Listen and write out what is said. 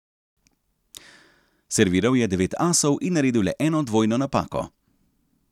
Serviral je devet asov in naredil le eno dvojno napako.